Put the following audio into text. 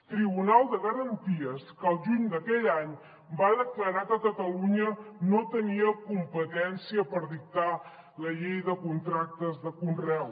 tribunal de garanties que al juny d’aquell any va declarar que catalunya no tenia competència per dictar la llei de contractes de conreu